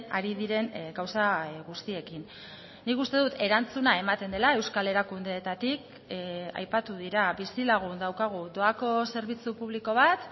ari diren gauza guztiekin nik uste dut erantzuna ematen dela euskal erakundeetatik aipatu dira bizilagun daukagu doako zerbitzu publiko bat